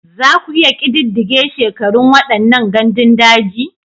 Za ku iya ƙididdige shekarun waɗannan gandun daji?